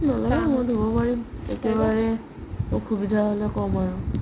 নালাগে মই ধুব পাৰিম একেবাৰে অসুবিধা হ'লে ক'ম আৰু